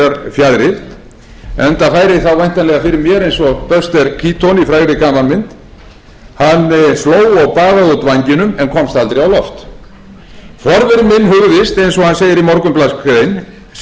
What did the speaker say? einhverjar fjaðrir enda færi þá væntanlega fyrir mér eins og buster keaton í frægri gamanmynd hann hló og baðaði út vængjunum en komst aldrei á loft forveri minn hugðist eins